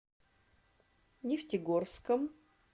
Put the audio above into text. нефтегорском